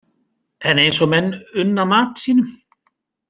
En eins og menn unna mat sínum.